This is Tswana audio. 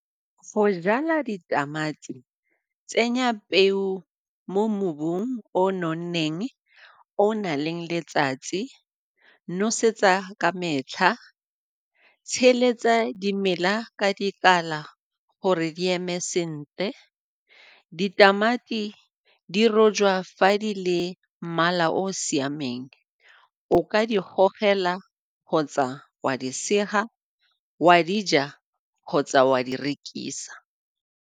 Go jala ditamati, tsenya peo mo mobung o o nonneng o o na leng letsatsi, nosetsa ka metlha, dimela ka dikala gore di eme sentle. Ditamati di rojwa fa di le mmala o o siameng, o ka di gogela kgotsa wa di sega, wa di ja kgotsa wa di rekisa.